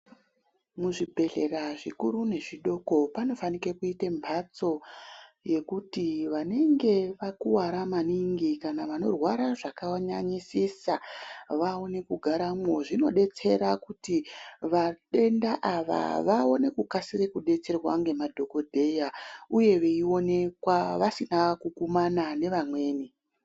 Muzvibhedhlera zvikuru nezvidoko panofanike kuita mhatso yekuti vanenge vakuwara maningi kana vanorwara zvakanyanyisisaa vaone kugaramwozvinodetsera kuti vadwnda ava vaone kukasire kudetserwa ngemadhokodheya uye veionekwa vaisina kukumana nevamweni.